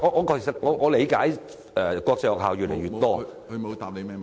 主席，我理解國際學校越來越多......